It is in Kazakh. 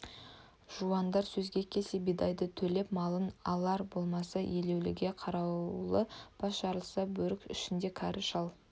жуандар сөзге келсе бидайды төлеп малын алар болмаса еруліге қарулы бас жарылса бөрік ішінде кәрі шал